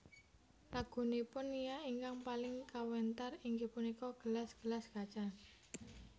Lagunipun Nia ingkang paling kawentar inggih punika Gelas gelas Kaca